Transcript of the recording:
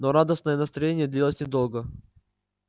но радостное настроение длилось недолго